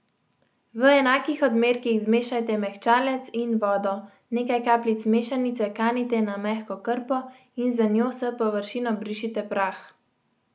V enakih odmerkih zmešajte mehčalec in vodo, nekaj kapljic mešanice kanite na mehko krpo in z njo s površin obrišite prah.